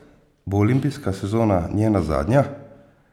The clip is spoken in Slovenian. Bo olimpijska sezona njena zadnja?